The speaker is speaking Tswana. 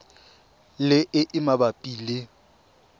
le e e mabapi le